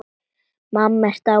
Mamma er dáin.